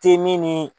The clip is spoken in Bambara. Te min ni